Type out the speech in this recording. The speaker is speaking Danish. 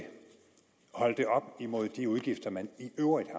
holde det op imod de udgifter man i øvrigt